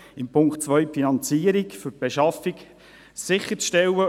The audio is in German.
In Punkt 2 geht es darum, die Finanzierung für die Beschaffung sicherzustellen.